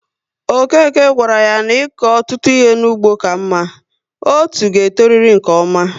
Okeke gawara yá n'iko ọtụtụ ihe n'ugbo ka mma, otú ga e toriri nke ọma